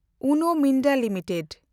Uno Minda limited